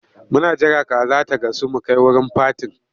Muna jira kaza ta gasu mu kai wurin fatin.